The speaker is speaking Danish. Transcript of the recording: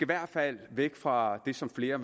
hvert fald væk fra det som flere